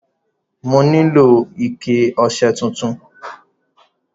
Mo nílò ike ọṣẹ tuntun.